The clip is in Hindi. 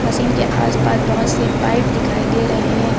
मशीन के आसपास बहुत से पाइप दिखाई दे रहे हैं।